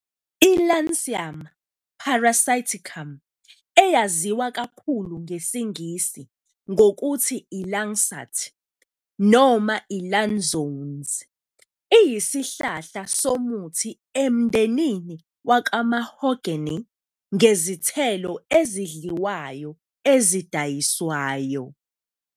I-Lansium parasiticum, eyaziwa kakhulu ngesiNgisi ngokuthi i-langsat noma i-lanzones, iyisihlahla somuthi emndenini wakwaMahogany ngezithelo ezidliwayo ezidayiswayo.